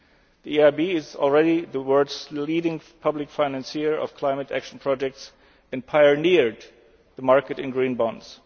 the EU. The EIB is already the world's leading public financier of climate action projects and has pioneered the market in Green